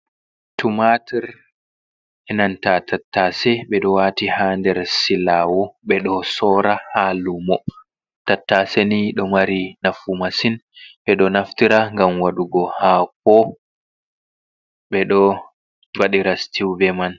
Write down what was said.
Tumatur e'nanta tattace, ɓe ɗo wati haa nder silawo, ɓe ɗo soora ha lumo. Tattace nii ɗo mari nafu masin, ɓe ɗo naftira ngam wadugo haako, ɓe ɗo waɗira situu ɓe man.